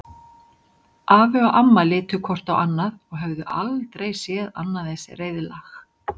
Afi og amma litu hvort á annað og höfðu aldrei séð annað eins reiðlag.